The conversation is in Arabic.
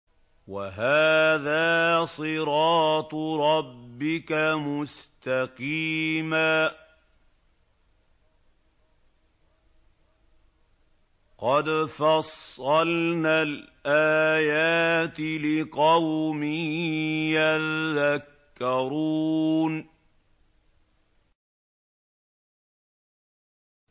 وَهَٰذَا صِرَاطُ رَبِّكَ مُسْتَقِيمًا ۗ قَدْ فَصَّلْنَا الْآيَاتِ لِقَوْمٍ يَذَّكَّرُونَ